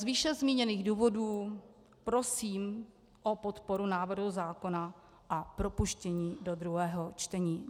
Z výše zmíněných důvodů prosím o podporu návrhu zákona a propuštění do druhého čtení.